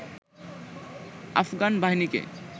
আফগান বাহিনীকে